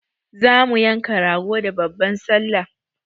Za mu yanka rago da babban sallah.